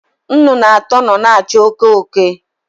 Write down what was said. Nnụnụ atọ nọ na-achụ oke oke.